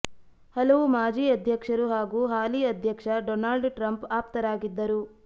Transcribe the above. ಹಲವು ಮಾಜಿ ಅಧ್ಯಕ್ಷರು ಹಾಗೂ ಹಾಲಿ ಅಧ್ಯಕ್ಷ ಡೊನಾಲ್ಡ್ ಟ್ರಂಪ್ ಆಪ್ತರಾಗಿದ್ದರು